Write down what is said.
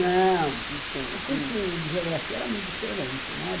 Não, não tinha, o curso de geografia era muito diferente, né?